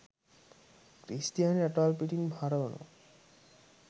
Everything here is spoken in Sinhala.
ක්‍රිස්තියානි රටවල් පිටින් හරවනවා